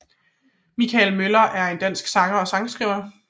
Michael Møller er en dansk sanger og sangskriver